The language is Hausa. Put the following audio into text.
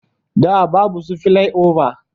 Da babu su filai oba